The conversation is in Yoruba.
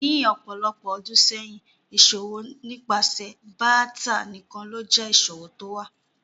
Ní ọpọ̀lọpọ̀ ọdún sẹyin, iṣọwọ̀ nípasẹ̀ báátà nikán ló jẹ iṣọwọ̀ tówa.